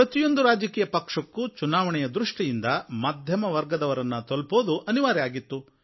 ಪ್ರತಿಯೊಂದು ರಾಜಕೀಯ ಪಕ್ಷಕ್ಕೂ ಚುನಾವಣೆಯ ದೃಷ್ಟಿಯಿಂದ ಮಧ್ಯಮವರ್ಗದವರನ್ನು ತಲುಪುವುದು ಅನಿವಾರ್ಯವಾಗಿತ್ತು